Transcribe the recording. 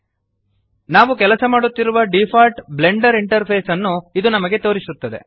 ನಾವು ಕೆಲಸ ಮಾಡುತ್ತಿರುವ ಡಿಫಾಲ್ಟ್ ಬ್ಲೆಂಡರ್ ಇಂಟರ್ಫೇಸ್ ಅನ್ನು ಇದು ನಮಗೆ ತೋರಿಸುತ್ತದೆ